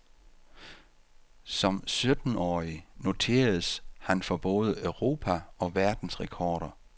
Som syttenårig noteredes han for både europa og verdensrekorder.